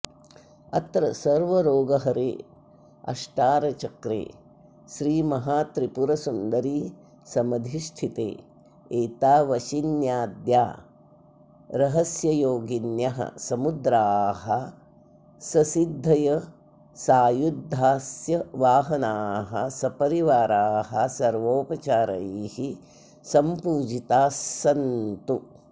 अत्र सर्वरोगहरे अष्टारचक्रे श्रीमहात्रिपुरसुन्दरीसमधिष्ठिते एता वशिन्याद्या रहस्ययोगिन्यः समुद्राः ससिद्धयस्सायुधास्सवाहनाः सपरिवाराः सर्वोपचारैः सम्पूजितास्सन्तु